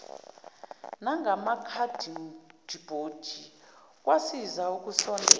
nangamakhadibhodi kwasiza ukusondela